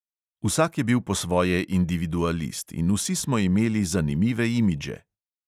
Vsak je bil po svoje individualist in vsi smo imeli zanimive imidže.